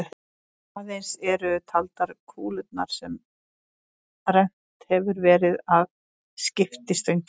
Aðeins eru taldar kúlurnar sem rennt hefur verið að skiptistönginni.